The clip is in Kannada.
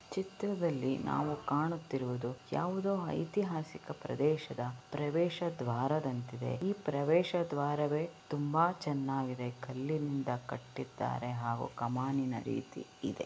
ಚಿತ್ರದಲ್ಲಿ ನಾವು ಕಾಣುತ್ತಿರುವುದು ಯಾವುದೋ ಐತಿಹಾಸಿಕ ಪ್ರದೇಶದ ಪ್ರವೇಶ ದ್ವಾರ ದಂತಿದೆ ಈ ಪ್ರವೇಶ ದ್ವಾರವೇ ತುಂಬಾ ಚೆನ್ನಾಗಿ ಇದೇ ಕಲ್ಲಿನಿಂದ ಕಟ್ಟಿದ್ದಾರೆ ಹಾಗೂ ಕಮಾಂಡಿನ ರೀತಿ ಇದೆ